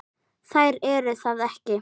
Þær eru það ekki.